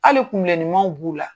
Hali kun bilennimanw b'u la.